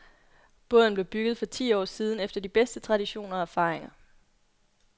Båden blev bygget for ti år siden efter de bedste traditioner og erfaringer.